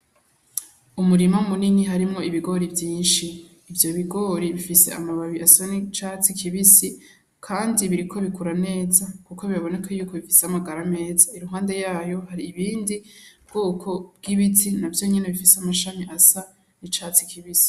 Umurima munini harimo ibigori vyinshi ivyo bigori bifise amababi asoni catsi kibisi, kandi biriko bikura neza, kuko bibaboneke yuku bifise amagara meza iruhande yayo hari ibindi bwoko bw'ibiti na vyo nyene bifise amashami asa n'icatsi kibisi.